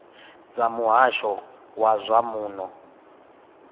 dza muhasho wa zwa muno